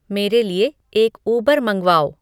मेरे लिए एक उबर मँगवाओ